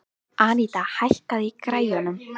Anita, hækkaðu í græjunum.